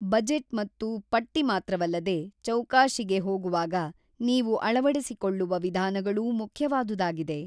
Budget ಮತ್ತು ಪಟ್ಟಿ ಮಾತ್ರವಲ್ಲದೆ ಚೌಕಾಶಿಗೆ ಹೋಗುವಾಗ ನೀವು ಅಳವಡಿಸಿಕೊಳ್ಳುವ ವಿಧಾನಗಳೂ ಮುಖ್ಯವಾದುದಾಗಿದೆ.